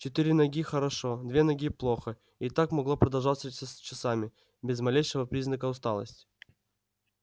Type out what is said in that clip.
четыре ноги хорошо две ноги плохо и так могло продолжаться часами без малейшего признака усталости